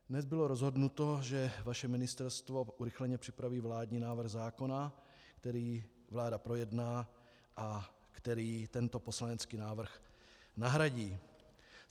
Dnes bylo rozhodnuto, že vaše ministerstvo urychleně připraví vládní návrh zákona, který vláda projedná a který tento poslanecký návrh nahradí.